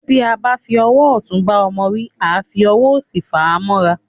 Tí a bá fi owó òtún bá ọmọ wí, àá fi owó òsì fà á móra